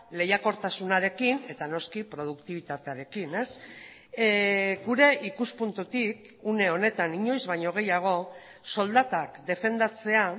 lehiakortasunarekin eta noski produktibitatearekin gure ikuspuntutik une honetan inoiz baino gehiago soldatak defendatzea